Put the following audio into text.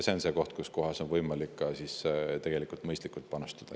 See on see koht, kus on võimalik tegelikult mõistlikult panustada.